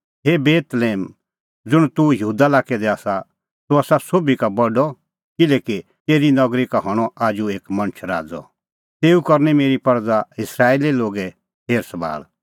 हे बेतलेहम ज़ुंण तूह यहूदा लाक्कै दी आसा तूह आसा सोभी का बडअ किल्हैकि तेरी नगरी का हणअ आजू एक मणछ राज़अ तेऊ करनी मेरी परज़ा इस्राएली लोगे हेरसभाल़